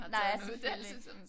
Nej selvfølgelig